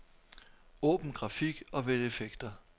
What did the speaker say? Åbn grafik og vælg effekter.